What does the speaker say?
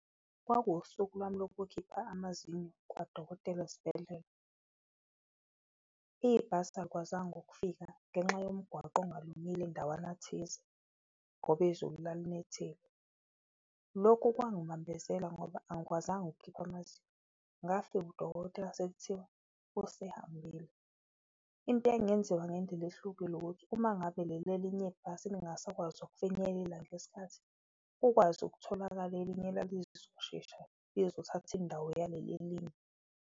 Kwakuwusuku lwami lokukhipha amazinyo kwadokotela esibhedlela ibhasi alikwazanga ukufika ngenxa yomgwaqo ongalungile ndawana thize ngoba izulu lalinethile. Lokhu kwangibambezela ngoba angikwazanga ukukhipha amazinyo, ngafika udokotela sekuthiwa usehambile. Into engenziwa ngendlela ehlukile ukuthi uma ngabe leli elinye ibhasi lingasakwazi ukufinyelela ngesikhathi kukwazi ukutholakala elinye elalilozoshesha lizothatha indawo yaleli elinye.